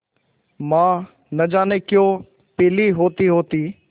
माँ न जाने क्यों पीली होतीहोती